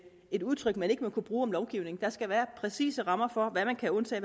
et udtryk man ikke må kunne bruge om lovgivning der skal være præcise rammer for hvad man kan undtage